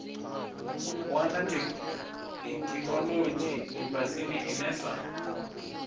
wana theikinolodzhi lifhasini ine sa